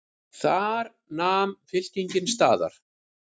Þar nam fylkingin staðar.